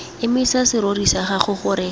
emisa serori sa gago gore